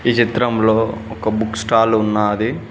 ఈ చిత్రంలో ఒక బుక్ స్టాల్ ఉన్నాది